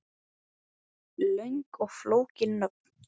Löng og flókin nöfn